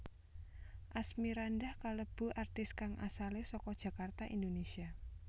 Asmirandah kalebu artis kang asalé saka Jakarta Indonesia